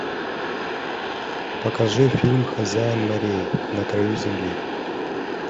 покажи фильм хозяин морей на краю земли